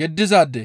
yeddizaade.